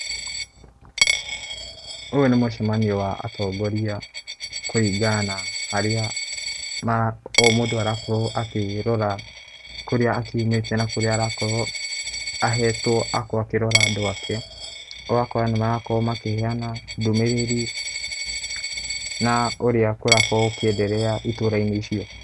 Ũyũ nĩ mũcemanio wa atongoria kũringana na harĩa maa, o mũndũ arakorũo akĩrora kũrĩa akiumĩte na kũrĩa arakorũo ahetũo, agakorũo akĩrora andũ ake, ũgakora nĩmarakorũo makĩheana ndũmĩrĩri na ũrĩa kũrakorũo gũkĩenderea itũrainĩ icio.